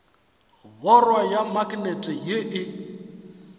borwa ya maknete ye e